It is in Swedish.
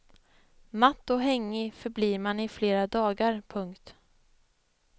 Matt och hängig förblir man i flera dagar. punkt